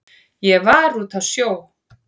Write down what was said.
Ég var úti á sjó.